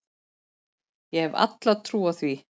Ég hef alla trú á því.